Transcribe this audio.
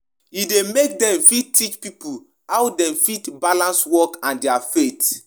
Personally I prefer to dey carry money give orphanage and needy people but our pastor say we suppose give tithe